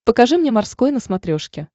покажи мне морской на смотрешке